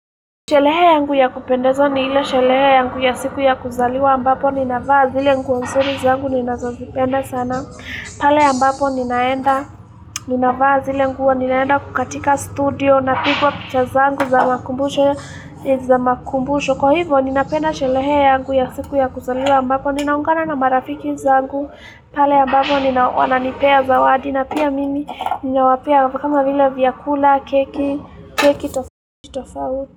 Shelehe yangu ya kupendeza ni ile shelehe yangu ya siku ya kuzaliwa mbapo. Ninavaa zile nguo nzuri zangu, ninazozipenda sana. Pale ambapo ninaenda, ninavaa zile nguo ninaenda kukatika studio, napigwa picha zangu za makumbusho, za makumbusho. Kwa hivo, ninapenda shelehe yangu ya siku ya kuzaliwa mbapo. Ninaungana na marafiki zangu. Pale ambapo, nina wananipea zawadi. Na pia mimi, ninawapea kama vile vyakula, keki, keki, tofao.